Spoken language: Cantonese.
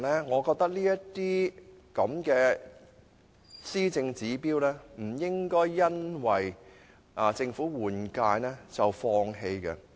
我認為這些施政目標不應因政府換屆而放棄。